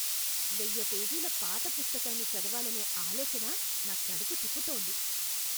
వెయ్య పేజీల పాత పుస్తకాన్ని చదవాలనే ఆలోచన నా కడుపు తిప్పుతోంది.